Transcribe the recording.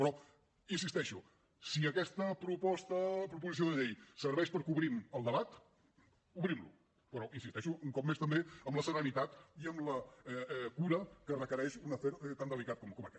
però hi insisteixo si aquesta proposició de llei serveix perquè obrim el debat obrim lo però hi insisteixo un cop més també amb la serenitat i amb la cura que requereix un afer tan delicat com aquest